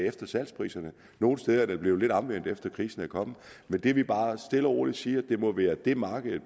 efter salgspriserne nogle steder er det blevet lidt omvendt efter at krisen er kommet men det vi bare stille og roligt siger er det må være det markedet